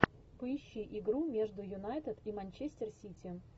поищи игру между юнайтед и манчестер сити